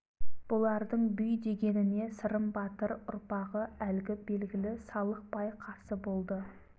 бұлардың бүй дегеніне сырым батыр ұрпағы әлгі белгілі салық бай қарсы болды